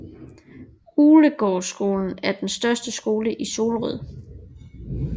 Uglegårdsskolen er den største skole i Solrød